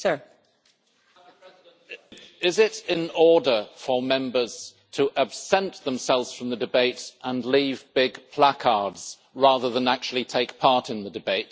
Madam President, is it in order for Members to absent themselves from the debates and leave big placards rather than actually take part in the debate?